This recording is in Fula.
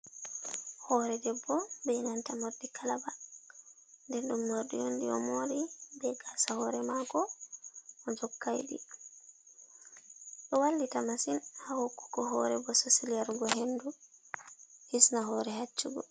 Hore debbo be nanta morɗi kalaba nder ɗum morɗi yondi o mori be gasa hore mako o jokaidi, ɗo wallita masin ha hokkugo hore bososel yargo hendu hisna hore haccugo.